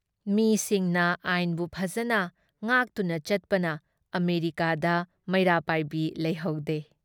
ꯃꯤꯁꯤꯡꯅ ꯑꯥꯏꯟꯕꯨ ꯐꯖꯅ ꯉꯥꯛꯇꯨꯅ ꯆꯠꯄꯅ ꯑꯃꯦꯔꯤꯀꯥꯗ ꯃꯩꯔꯥ ꯄꯥꯏꯕꯤ ꯂꯩꯍꯧꯗꯦ ꯫